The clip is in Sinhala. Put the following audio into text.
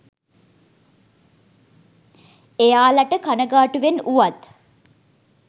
එයාලට කණගාටුවෙන් වුවත්